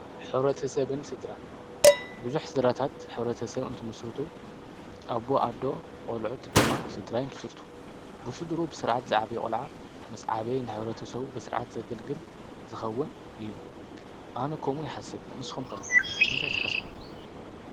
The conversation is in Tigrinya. ኅብረ ተ ሰብን ስድራ ብዙኅ ድራታት ኅብረ ተ ሰብ እንትምስርቱ ኣቦ ኣዶ ቖልዑት ድማ ሥድራ ይ ምስርቱ ብሱድሩ ብሥርዓት ዝዓበ ቖልዓ ምስ ዓበ ንኅረተ ሰዉ ብሥርዓት ዘገልግል ዝኸውን እዩ ኣነ ከምኡ ይሓሰብ ንስ ኾምከ እንታይተሓስቡ።